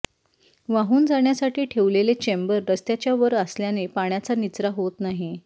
वाहून जाण्यासाठी ठेवलेले चेंबर रस्त्याच्या वर असल्याने पाण्याचा निचरा होत नाही